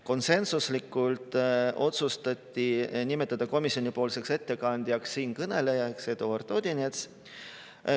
Konsensuslikult otsustati nimetada komisjonipoolseks ettekandjaks siinkõneleja Eduard Odinets.